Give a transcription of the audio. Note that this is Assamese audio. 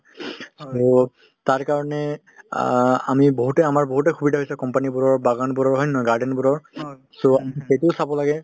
টো তাৰ কাৰণে অ আমি বহুতে আমাৰ বহুতে সুবিধা হৈছে company বোৰৰ বাগান বোৰৰ হয় নে নহয় garden বোৰৰ । so সেইটোও চাব লাগে ।